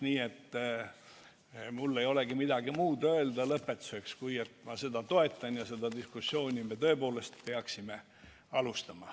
Nii et mul ei olegi lõpetuseks midagi muud öelda kui et ma seda toetan ja seda diskussiooni me tõepoolest peaksime alustama.